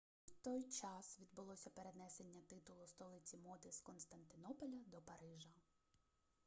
саме в той час відбулося перенесення титулу столиці моди з константинополя до парижа